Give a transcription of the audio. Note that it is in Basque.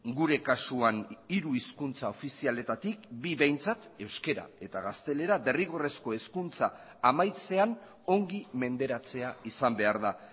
gure kasuan hiru hizkuntza ofizialetatik bi behintzat euskara eta gaztelera derrigorrezko hezkuntza amaitzean ongi menderatzea izan behar da